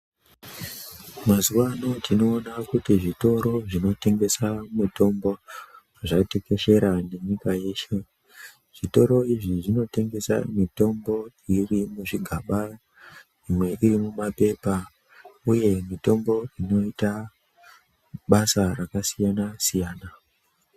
Mazuwano tinoona kuti zvitoro zvinotengesa mitombo zvatekeshera nenyika yeshe. Zvitoro izvi zvinotengese mitombo yedu yemuzvigamba, imwe iri mumaphepa uye mitombo inoita basa rakasiyana siyana.